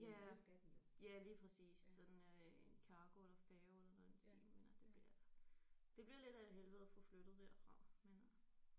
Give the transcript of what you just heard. Ja. Ja lige præcis så er den øh en cargo eller færge eller noget i den stil men det bliver det bliver lidt af et helvede at få flyttet derfra men øh